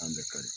An bɛɛ ka di